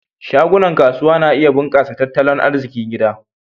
Shagunan kasuwa na iya bunkasa tat talon arzikin gida.